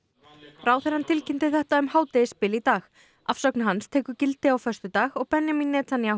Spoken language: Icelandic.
ráðherrann tilkynnti þetta um hádegisbil í dag afsögn hans tekur gildi á föstudag og Benjamin Netanyahu